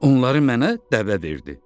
Onları mənə dəvə verdi.